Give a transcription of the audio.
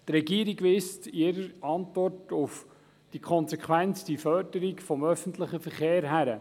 Die Regierung weist in ihrer Antwort auf die konsequente Förderung des öffentlichen Verkehrs hin.